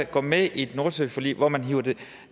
går med i et nordsøforlig hvor man hiver